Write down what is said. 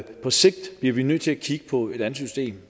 på sigt bliver vi nødt til at kigge på et andet system